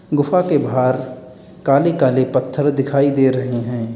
गुफा के बाहर काले काले पत्थर दिखाई दे रहे हैं।